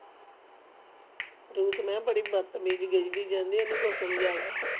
Ruth ਮੈਂ ਬੜੀ ਬਾਤਮਿਜ ਗੇਜਦੀ ਜਾਂਦੀ ਓਹਨੂੰ ਕੁਝ ਸਮਜਲਾ